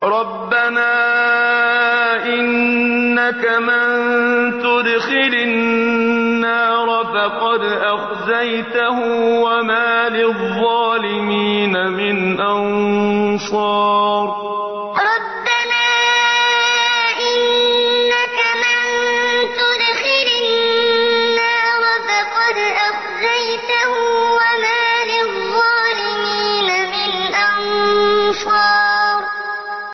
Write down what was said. رَبَّنَا إِنَّكَ مَن تُدْخِلِ النَّارَ فَقَدْ أَخْزَيْتَهُ ۖ وَمَا لِلظَّالِمِينَ مِنْ أَنصَارٍ رَبَّنَا إِنَّكَ مَن تُدْخِلِ النَّارَ فَقَدْ أَخْزَيْتَهُ ۖ وَمَا لِلظَّالِمِينَ مِنْ أَنصَارٍ